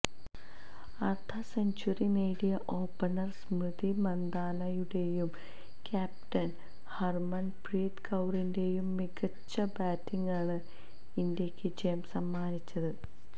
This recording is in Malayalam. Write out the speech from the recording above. അര്ദ്ധ സെഞ്ചുറി നേടിയ ഓപ്പണര് സ്മൃതി മന്ദാനയുടെയും ക്യാപ്റ്റന് ഹര്മന്പ്രീത് കൌറിന്റയും മികച്ച ബാറ്റിങ്ങാണ് ഇന്ത്യയ്ക്ക് ജയം സമ്മാനിച്ചത്